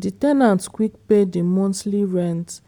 di ten ant quick pay di monthly rent